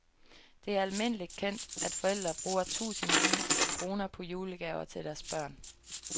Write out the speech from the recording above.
Det er almindelig kendt, at forældre bruger tusindvis af kroner på julegaver til deres børn.